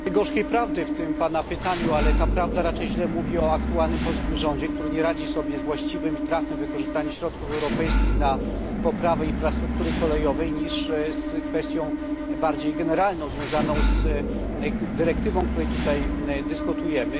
Wiele jest gorzkiej prawdy w tym Pana pytaniu, ale ta prawda raczej źle mówi o aktualnym polskim rządzie, który nie radzi sobie z właściwym i trafnym wykorzystaniem środków europejskich na poprawę infrastruktury kolejowej niż z kwestią bardziej generalną związaną z dyrektywą, o której tutaj dyskutujemy.